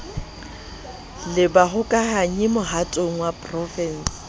le bahokahanyi mohatong wa porofense